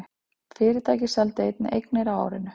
Fyrirtækið seldi einnig eignir á árinu